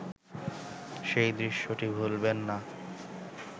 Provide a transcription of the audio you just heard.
সেই দৃশ্যটি ভুলবেন না